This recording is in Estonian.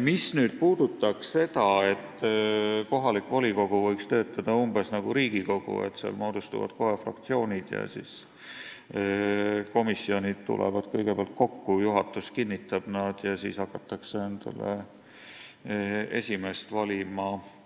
Mis puudutab seda, et kohalik volikogu võiks töötada umbes nagu Riigikogu, kus kohe moodustuvad fraktsioonid ja komisjonid tulevad kõigepealt kokku, juhatus kinnitab nad ja siis hakkavad komisjonid endale esimeest valima, siis